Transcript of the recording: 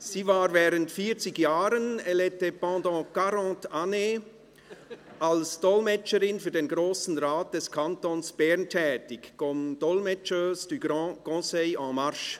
Sie war während 40 Jahren – elle était pendant 40 années – als Dolmetscherin für den Grossen Rat des Kantons Bern tätig – comme « dolmetscheuse » du Grand Conseil en marche.